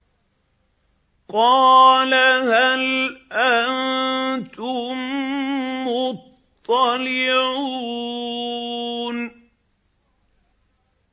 قَالَ هَلْ أَنتُم مُّطَّلِعُونَ